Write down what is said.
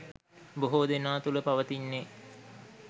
බොහෝ දෙනා තුල පවතින්නේ